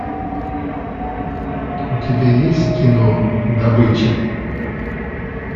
у тебя есть кино добыча